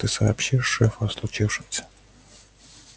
ты сообщишь шефу о случившемся